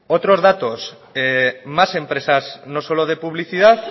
otros datos más empresas no solo de publicidad